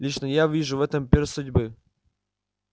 лично я вижу в этом перст судьбы